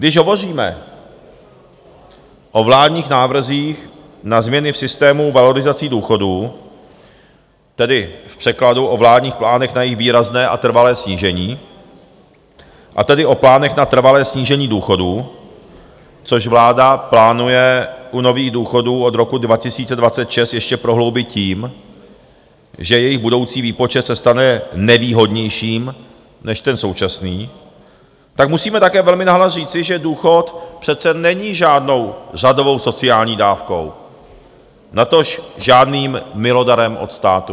Když hovoříme o vládních návrzích na změny v systému valorizací důchodů, tedy v překladu o vládních plánech na její výrazné a trvalé snížení, a tedy o plánech na trvalé snížení důchodů, což vláda plánuje u nových důchodů od roku 2026 ještě prohloubit tím, že jejich budoucí výpočet se stane nevýhodnějším než ten současný, tak musíme také velmi nahlas říci, že důchod přece není žádnou řadovou sociální dávkou, natož žádným milodarem od státu.